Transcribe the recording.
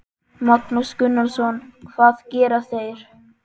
Magnús Gunnarsson: Hvað gera þeir?